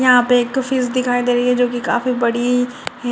यहां पे एक फिश दिखा दे रही है जो कि काफी बड़ी है।